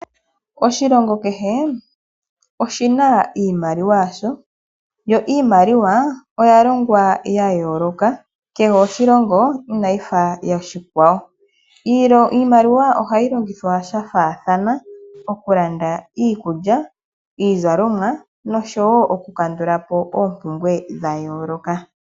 Oshilongo kehe oshi na iimaliwa yasho, yo iimaliwa oya yoolokathana miilongo yi ili no yi ili. Ohayi longithwa sha faathana ngaashi okulanda iikulya, iizalomwa nosho woo oku kandulapo oompumbwe dha yooloka.